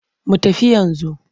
Mu tafi yanzu.